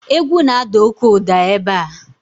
egwu na-ada oke ụda ebe a